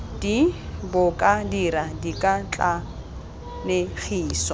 d bo ka dira dikatlanegiso